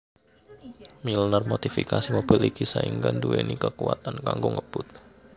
Milner modifikasi mobil iki saéngga nduweni kakuwatan kanggo ngebut